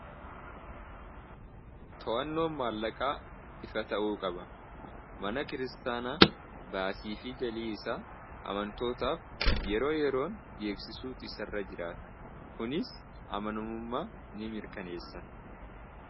To'annoon maallaqaa ifa ta'uu qaba. Mana kiristaanaa baasiifi galii isaa amantootaaf yeroo yeroon beeksisuun isa irra jiraata. Kunis amanamummaa nimirkaneessa.